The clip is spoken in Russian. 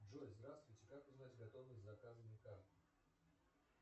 джой здравствуйте как узнать готовность заказанной карты